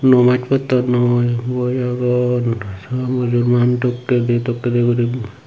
nomaj pottondoi boi agon sang mujurmaan tokke de dup tokke di guri.